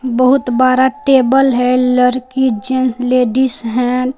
बहुत बरा टेबल है लड़की जेंट्स लेडिस है ।